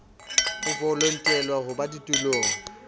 o voutelwa ho ba ditulong